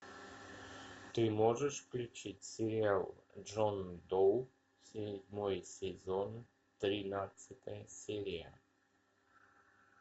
ты можешь включить сериал джон доу седьмой сезон тринадцатая серия